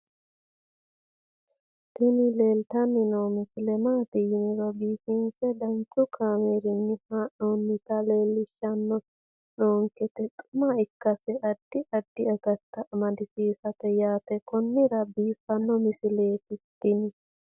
tini leeltanni noo misile maaati yiniro biifinse danchu kaamerinni haa'noonnita leellishshanni nonketi xuma ikkase addi addi akata amadaseeti yaate konnira biiffanno misileeti tini